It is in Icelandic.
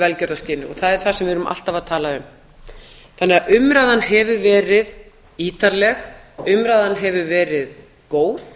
velgjörðarskyni og það er það sem við erum alltaf að tala um þannig að umræðan hefur verið ítarleg umræðan hefur verið góð